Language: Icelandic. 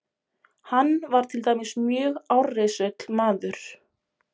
Hann var til dæmis mjög árrisull maður.